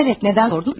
Bəli, niyə soruşdun?